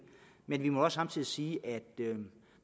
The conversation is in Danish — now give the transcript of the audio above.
men vi må også samtidig sige at